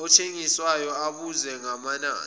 othengisayo ubuze ngamanani